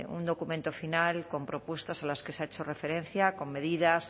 un documento final con propuestas a las que se ha hecho referencia con medidas